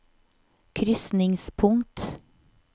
krysningspunkt